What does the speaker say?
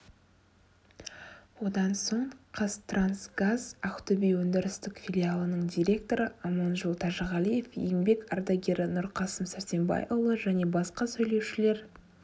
одан соң қазтрансгаз ақтөбе өндірістік филиалының директоры аманжол тәжіғалиев еңбек ардагері нұрқасым сәрсенбайұлы және басқа сөйлеушілер